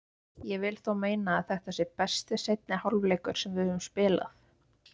Ég vil þó meina að þetta sé besti seinni hálfleikur sem við höfum spilað.